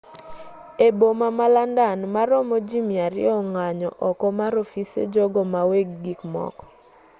e boma ma landan maromo ji 200 ong'anyo oko mar ofise jogo maweg gikmoko